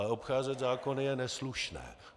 Ale obcházet zákony je neslušné.